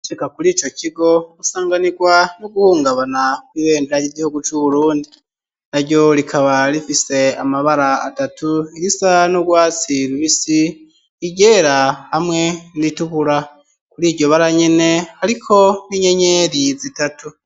Sika kuri ico kigo gusanganirwa n'uguhungabana kw'ibeyndera ry'igihugu c'u burundi na ryo rikaba rifise amabara atatu irisa n'ugwatsira ubisi igera hamwe nritukura kuri iryo bara nyene, ariko n'inyenyeri zitatu.